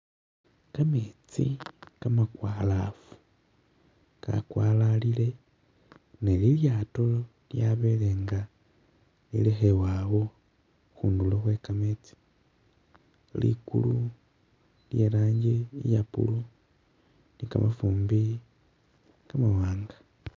Kametsi kamakwalafu kakwalalile ne lilyaato lyabele nga lilekhebwa awo khundulo Khwe kametsi, likulu lye lanji iye blue ni kamafumbi kamawanga